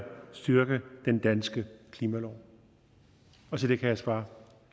styrke den danske klimalov og til det kan jeg svare